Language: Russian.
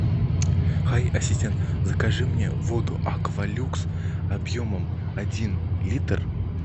хай ассистент закажи мне воду аква люкс объемом один литр